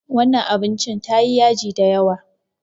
Wannan abincin tayi yaji da yawa.